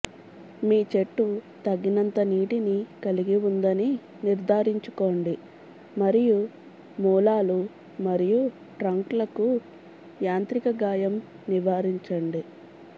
మీ చెట్టు తగినంత నీటిని కలిగి ఉందని నిర్ధారించుకోండి మరియు మూలాలు మరియు ట్రంక్లకు యాంత్రిక గాయం నివారించండి